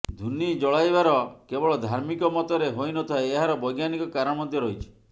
ଧୂନି ଜଳାଇବାର କେବଳ ଧାର୍ମିକ ମତରେ ହୋଇନଥାଏ ଏହାର ବୈଜ୍ଞାନିକ କାରଣ ମଧ୍ୟ ରହିଛି